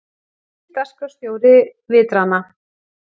Nýr dagskrárstjóri Vitrana